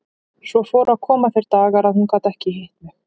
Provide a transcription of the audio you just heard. Svo fóru að koma þeir dagar að hún gat ekki hitt mig.